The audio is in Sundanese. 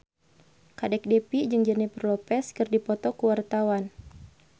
Kadek Devi jeung Jennifer Lopez keur dipoto ku wartawan